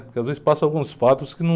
Porque às vezes passa alguns fatos que não...